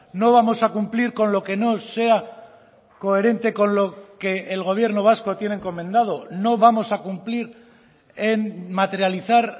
no vamos a cumplir con lo que no sea coherente con lo que el gobierno vasco tiene encomendado no vamos a cumplir en materializar